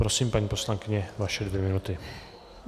Prosím, paní poslankyně, vaše dvě minuty.